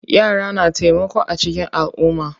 Yara na taimako a cikin alumma.